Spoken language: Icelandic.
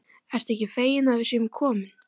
Ertu ekki feginn að við séum komin?